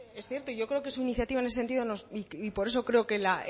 es cierto yo creo que su iniciativa en ese sentido y por eso creo que la